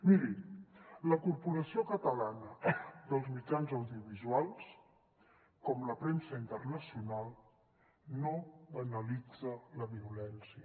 miri la corporació catalana dels mitjans audiovisuals com la premsa internacional no banalitza la violència